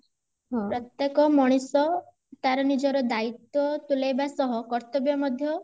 ପ୍ରତ୍ୟକ ମଣିଷ ତାର ନିଜର ଦାଇତ୍ୱ ତୁଲେଇବା ସହ କର୍ତବ୍ୟ ମଧ୍ୟ